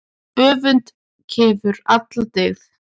Öfund kefur alla dyggð.